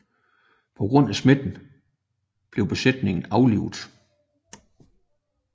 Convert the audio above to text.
På grund af smitten blev besætningen aflivet